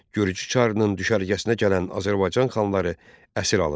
Gürcü çarının düşərgəsinə gələn Azərbaycan xanları əsir alındı.